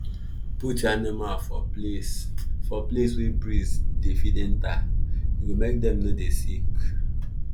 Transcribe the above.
put your animal for place for place wey breeze dey fit enter e go make dem no dey sick